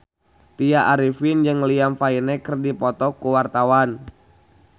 Tya Arifin jeung Liam Payne keur dipoto ku wartawan